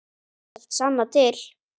Þú skalt sanna til.